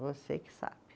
Você que sabe.